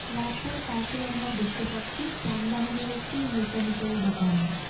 রাস্তার পাশে আমরা দেখতে পাচ্ছি যানবাহনের একটি মেকানিক্যাল দোকান।